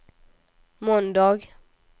måndag